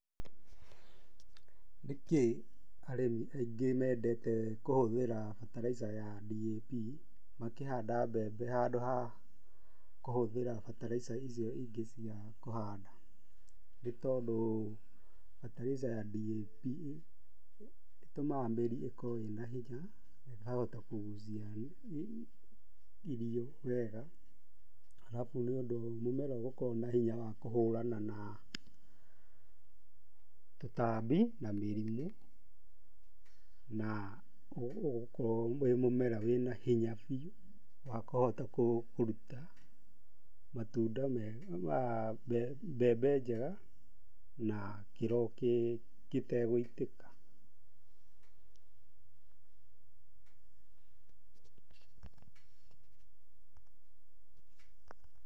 Nĩ kĩ arĩmi aingĩ mendete kũhũthĩra bataraitha ya DAP makĩhanda mbembe handũ ha kũhũthĩra bataraitha icio ingĩ cia kũhanda? Nĩ tondũ bataraitha ya DAP ĩtumaga mĩri ĩkorwo ĩna hinya na ĩkahota kũgucia irio wega, arabu nĩ ũndũ mũmera ũgũkorwo na hinya wa kũhũrana na tũtambi, na mĩrimũ, na ũgũkorwo wĩ mũmera wĩna hinya biũ, wa kũhota kũruta matunda mega, mbembe njega, na kĩro gĩtegũitĩka.